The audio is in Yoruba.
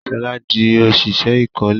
Shola dì òṣìṣẹ́ ìkọ́lé